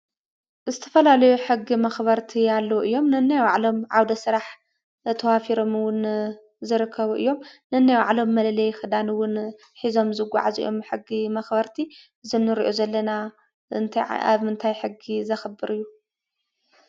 ዝተፈላለዩ ሕጊ መኽበርቲ አለዉ እዮም:: ነናይ ባዕሎም ዓውደ ስራሕ ተዋፊሮም ውን ዝርከቡ እዮም። ነንባዕሎም መለለይ ኽዳን ውን ሒዞም ይጓዓዙ እዮም:: ብሕጊ መኽበርቲ እዚ ንሪኦ ዘለና እንታይ ኣብ ምንታይ ሕጊ ዘኽብር እዩ።